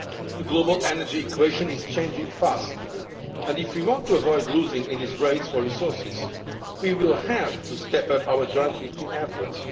The global energy equation is changing fast, and if we want to avoid losing in this race for resources, we will have to step up our joint European efforts.